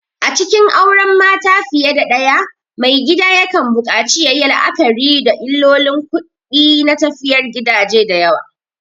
A cikin auren mata fiye da ɗaya, maigida yakan buƙaci yayi la'akari da illolin kuɗi na tafiyar gidaje da yawa.